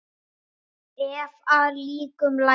Ef að líkum lætur.